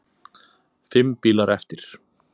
Fimm bílar eftir.